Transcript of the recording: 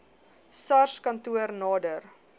sars kantoor nader